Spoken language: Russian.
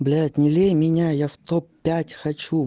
блять не лей меня в топ пять хочу